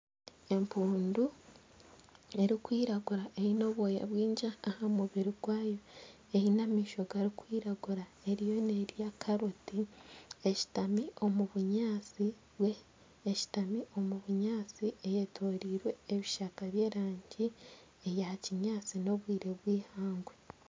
Empuundu erikwiragura eyine obwoya bwingi aha mubiri gwayo eyine amisho garikwiragura eriyo nerya karoti, eshutami omu bunyaatsi, eyetorirwe ebishaka eby'erangi ya kinyaatsi. N'obwire byihangwe.